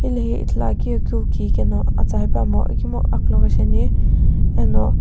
hilehi ithuluakeu ye kiu ki keno atsa hepuamo ikemu akuloghi shiani eno--